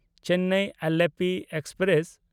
Chennai Alleppey express